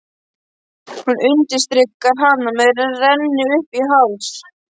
Hún undirstrikar hana með rennt uppí háls.